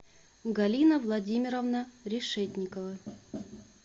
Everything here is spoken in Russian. галина владимировна решетникова